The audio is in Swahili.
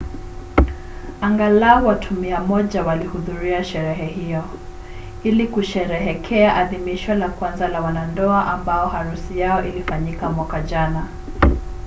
angalau watu 100 walihudhuria sherehe hiyo ili kusherehekea adhimisho la kwanza la wanandoa ambao harusi yao ilifanyika mwaka jana